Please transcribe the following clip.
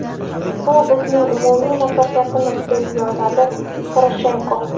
Bu bizning umumiy muvaffaqiyatimiz!”, deb yozdi Poroshenko.